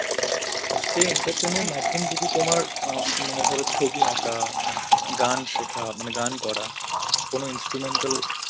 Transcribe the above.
সে entertain মাধ্যম যদি তোমার অ্যাঁ মানে ধরো ছবি আঁকা, গান শেখা, মানে গান করা, কোনো instrumental